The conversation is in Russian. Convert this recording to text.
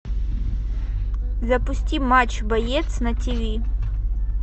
запусти матч боец на тв